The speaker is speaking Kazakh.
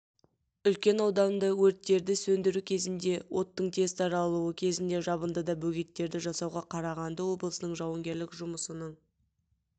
үлкен ауданды өрттерді сөндіру кезінде оттың тез таралуы кезінде жабындыда бөгеттерді жасауға қарағанды облысының жауынгерлік жұмысының